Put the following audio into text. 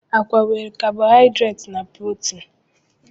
Agwa nwere kabohaidreti na protin.